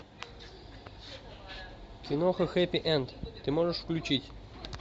киноха хэппи энд ты можешь включить